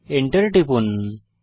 Enter টিপুন